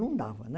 Não dava, né?